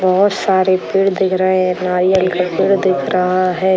बहोत सारे पेड़ दिख रहे हैं। नारियल का पेड़ दिख रहा है।